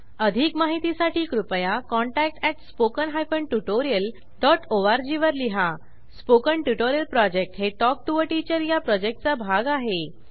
अधिक माहितीसाठी कृपया contact at spoken hyphen tutorial dot ORG वर लिहा स्पोकन ट्युटोरियल प्रॉजेक्ट हे टॉक टू टीचर या प्रॉजेक्टचा भाग आहे